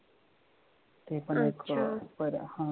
ते पण एक बरं आह